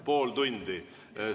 Pool tundi?